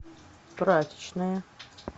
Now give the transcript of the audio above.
прачечная